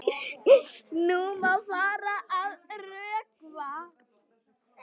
Nú má fara að rökkva.